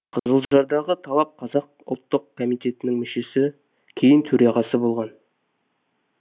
қызылжардағы талап қазақ ұлттық комитетінің мүшесі кейін төрағасы болған